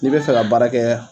N'i bɛ fɛ ka baara kɛ